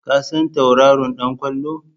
Ka san tauraron ɗan ƙwallon?